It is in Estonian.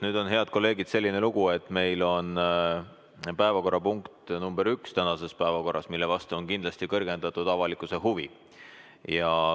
Nüüd, head kolleegid, on selline lugu, et tänase päevakorra esimene punkt on selline, mille vastu tunneb avalikkus kindlasti kõrgendatud huvi.